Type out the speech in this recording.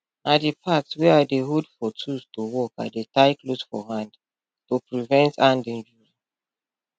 na di part wey i dey hold for tools to work i dey tie cloth for hand to prevent hand injury hand injury